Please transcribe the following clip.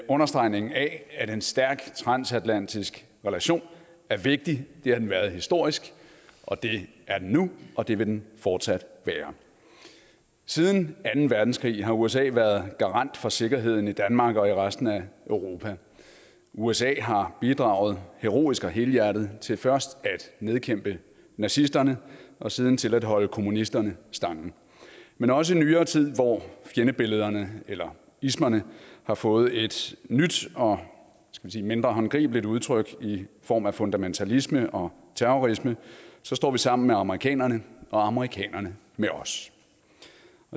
understregningen af at en stærk transatlantisk relation er vigtig det har den været historisk og det er den nu og det vil den fortsat være siden anden verdenskrig har usa været garant for sikkerheden i danmark og i resten af europa usa har bidraget heroisk og helhjertet til først at nedkæmpe nazisterne og siden til at holde kommunisterne stangen men også i nyere tid hvor fjendebillederne eller ismerne har fået et nyt og mindre håndgribeligt udtryk i form af fundamentalisme og terrorisme står vi sammen med amerikanerne og amerikanerne med os